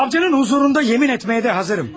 Savçının huzurunda yemin etməyə də hazırım.